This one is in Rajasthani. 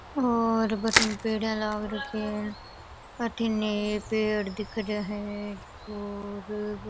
और बठन पेडिया लग रखे है और अठिन पेड़ दिख रिया है और --